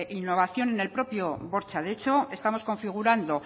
innovación en el propio bortxa de hecho estamos configurando